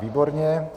Výborně.